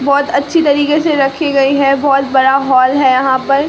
बहोत अच्छी तरीके से रखी गई है बहोत बड़ा हॉल है यहां पर--